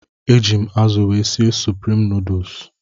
Eji m azụ wee sie suprim nuduls.